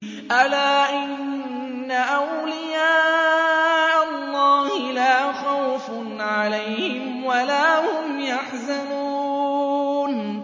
أَلَا إِنَّ أَوْلِيَاءَ اللَّهِ لَا خَوْفٌ عَلَيْهِمْ وَلَا هُمْ يَحْزَنُونَ